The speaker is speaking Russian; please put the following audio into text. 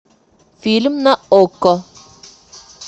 фильм на окко